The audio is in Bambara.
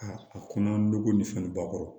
A kɔnɔ an be ko ni fɛn nunnu ba kɔrɔ